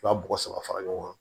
U ka bɔgɔ saba fara ɲɔgɔn kan